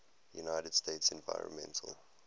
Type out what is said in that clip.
united states environmental